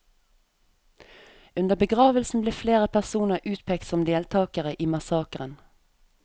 Under begravelsen ble flere personer utpekt som deltakere i massakeren.